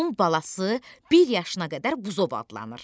Onun balası bir yaşına qədər buzov adlanır.